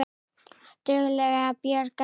Og dugleg að bjarga sér.